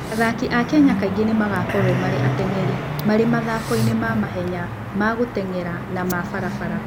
Athaki a Kenya kaingĩ nĩ magakorũo marĩ ateng'eri marĩ mathako-inĩ ma mahenya ma gũteng'era, na ma barabara.